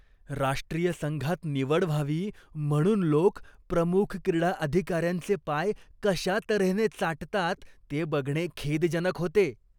राष्ट्रीय संघात निवड व्हावी म्हणून लोक प्रमुख क्रीडा अधिकार्यांचे पाय कशा तऱ्हेने चाटतात ते बघणे खेदजनक होते.